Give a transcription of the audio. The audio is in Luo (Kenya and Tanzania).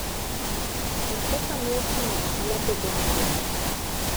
M-Pesa miyo timo ohala bedo mayot.